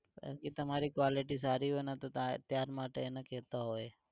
કેમ કે તમારી quality સારી હોય ને તો ત્યાર માટે એને કેતા હોય